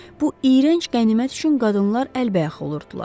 Bu iyrənc qənimət üçün qadınlar əlbəyaxa olurdular.